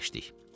Əyləşdik.